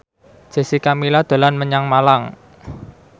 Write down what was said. Jessica Milla dolan menyang Malang